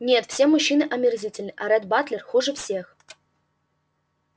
нет все мужчины омерзительны а ретт батлер хуже всех